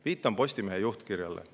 Viitan Postimehe juhtkirjale.